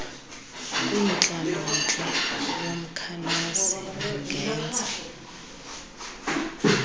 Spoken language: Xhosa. kwintlalontle yomkhalazi angenza